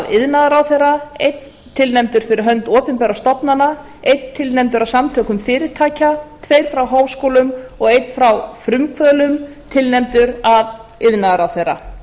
iðnaðarráðherra einn tilnefndur fyrir hönd opinberra stofnana einn tilnefndur af samtökum fyrirtækja tveir frá háskólum og einn frá frumkvöðlum tilnefndur af iðnaðarráðherra